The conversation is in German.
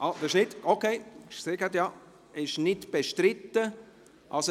Ich sehe, dass es nicht bestritten ist.